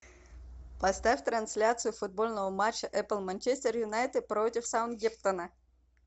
поставь трансляцию футбольного матча апл манчестер юнайтед против саутгемптона